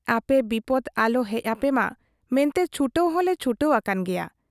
ᱟᱯᱮ ᱵᱤᱯᱚᱫᱽ ᱟᱞᱚ ᱦᱮᱡ ᱟᱯᱮᱢᱟ ᱢᱮᱱᱛᱮ ᱪᱷᱩᱴᱟᱹᱣ ᱦᱚᱞᱮ ᱪᱷᱩᱴᱟᱹᱣ ᱟᱠᱟᱱ ᱜᱮᱭᱟ ᱾